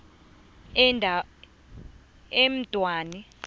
endwani